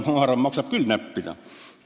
Mina arvan, et maksab küll näppida.